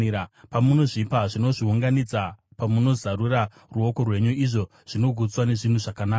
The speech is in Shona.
Pamunozvipa, zvinozviunganidza; pamunozarura ruoko rwenyu, izvo zvinogutswa nezvinhu zvakanaka.